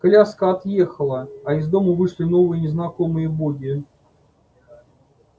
коляска отъехала а из дому вышли новые незнакомые боги